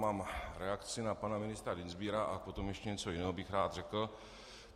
Mám reakci na pana ministra Dienstbiera a potom ještě něco jiného bych rád řekl.